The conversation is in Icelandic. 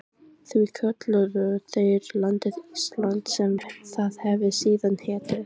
Því kölluðu þeir landið Ísland, sem það hefir síðan heitið.